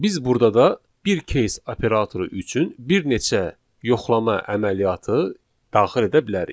Biz burda da bir case operatoru üçün bir neçə yoxlama əməliyyatı daxil edə bilərik.